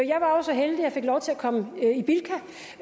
jeg fik lov til at komme i bilka